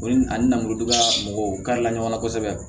Ni ani nanuruba mɔgɔw karila ɲɔgɔn kosɛbɛ